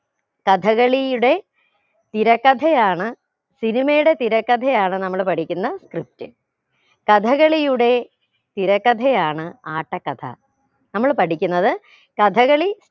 കഥകളിയുടെ തിരക്കഥയാണ് cinema യുടെ തിരക്കഥയാണ് നമ്മൾ പഠിക്കുന്ന script കഥകളിയുടെ തിരക്കഥയാണ് ആട്ടക്കഥ നമ്മൾ പഠിക്കുന്നത് കഥകളി